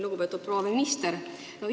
Lugupeetud proua minister!